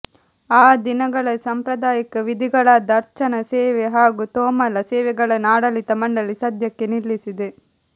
ಆ ದಿನಗಳಲ್ಲಿ ಸಾಂಪ್ರದಾಯಿಕ ವಿಧಿಗಳಾದ ಅರ್ಚನ ಸೇವಾ ಹಾಗೂ ತೋಮಲ ಸೇವಾಗಳನ್ನು ಆಡಳಿತ ಮಂಡಳಿ ಸದ್ಯಕ್ಕೆ ನಿಲ್ಲಿಸಿದೆ